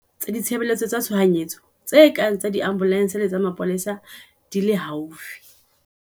Boloka dinomoro tsa ditshebeletso tsa tshohanyetso tse kang tsa diambolense le tsa mapolesa di le haufi.